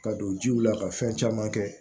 Ka don jiw la ka fɛn caman kɛ